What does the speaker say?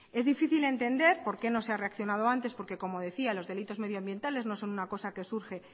es difícil entender por qué no se ha reaccionado antes porque como decía los delitos medioambientales no son una cosa que surge